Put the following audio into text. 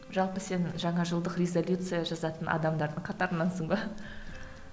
жалпы сен жаңа жылдық резолюция жазатын адамдардың қатарынансың ба